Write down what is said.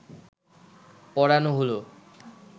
পরানো হল